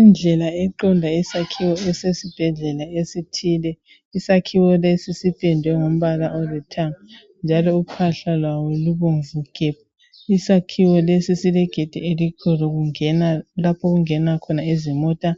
Indlela eqonda esakhiwo esesibhedlela esithile isakhiwo lesi sipendwe ngombala olithanga njalo uphahla lwawo lubomvu gebhu. Isakhiwo lesi silegedi elikhulu kungen lapho okungena khona izimota